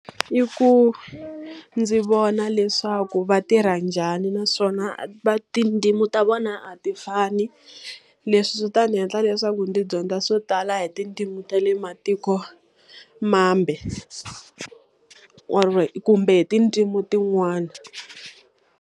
I ku ndzi vona leswaku va tirha njhani naswona tindzimi ta vona a ti fani. Leswi swi ta ni endla leswaku ndzi dyondza swo tala hi tindzimi ta le matikomambe Or kumbe tindzimi tin'wana.